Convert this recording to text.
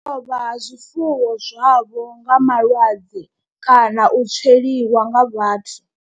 U lovha ha zwifuwo zwavho nga malwadze kana u tsweliwa nga vhathu.